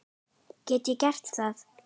Get ég gert það?